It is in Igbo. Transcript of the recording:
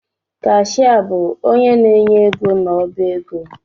Kashịa bụ onye na-enye ego n’ọbaego